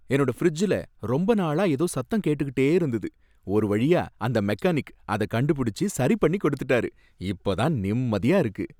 என்னோட ஃபிரிட்ஜ்ல ரொம்ப நாளா ஏதோ சத்தம் கேட்டுட்டே இருந்தது, ஒரு வழியா அந்த மெக்கானிக் அத கண்டுபிடிச்சு சரி பண்ணி கொடுத்துட்டாரு, இப்ப தான் நிம்மதியா இருக்கு